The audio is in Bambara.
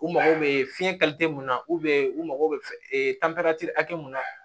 U mago bɛ fiyɛn mun na u mago bɛ hakɛ mun na